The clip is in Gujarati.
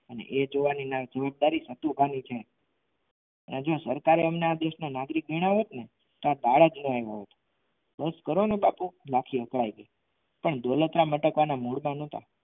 અને એ જોવાની ની જવાબદારી નથુભાઈ ની છે કે જો સરકારે તેમને આ દેશના નાગરિક ગણ્યા હોય ને તો આ ભારતનો હોય બસ કરો ને બાપુ લખી અકળાઈ ગઈ પણ દોલતરામ અટકવાના મૂડમાં નથી.